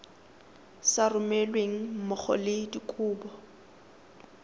sa romelweng mmogo le dikopo